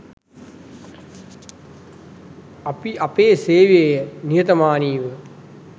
අපි අපේ සේවය නිහතමානීව